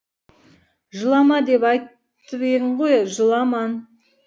жылама деп айтып ең ғой жыламан